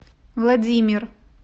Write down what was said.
владимир